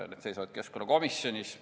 Need seisavad keskkonnakomisjonis.